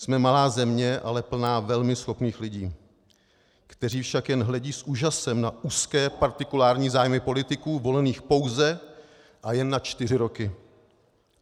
Jsme malá země, ale plná velmi schopných lidí, kteří však jen hledí s úžasem na úzké partikulární zájmy politiků volených pouze a jen na čtyři roky.